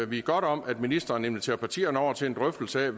vi godt om at ministeren inviterer partierne over til en drøftelse af